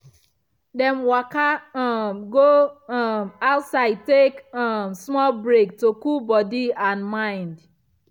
dem waka um go um outside take um small break to cool body and mind.